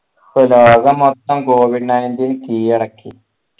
ലോകം മൊത്തം covid nineteen കീഴടക്കി